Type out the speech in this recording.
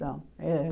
Não. Eh